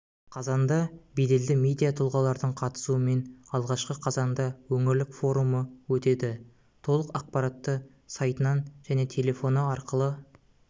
қазанда беделді медиа тұлғалардың қатысуымен алғашқы қазанда өңірлік форумы өтеді толық ақпаратты сайтынан және телефоны арқылы